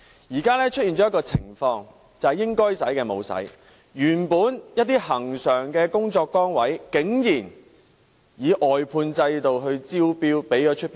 現在出現的情況是應該花的沒有花，一些恆常的工作崗位竟然招標外判。